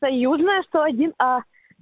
союзная сто один а